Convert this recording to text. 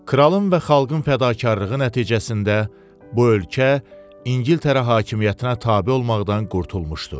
Kralın və xalqın fədakarlığı nəticəsində bu ölkə İngiltərə hakimiyyətinə tabe olmaqdan qurtulmuşdu.